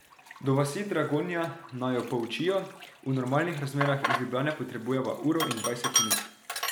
Do vasi Dragonja, naju poučijo, v normalnih razmerah iz Ljubljane potrebujeva uro in dvajset minut.